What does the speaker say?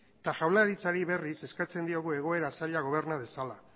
eta jaurlaritzari berriz eskatzen diogu egoera zaila goberna dezala